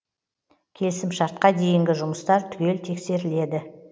келісімшартқа дейінгі жұмыстар түгел тексеріледі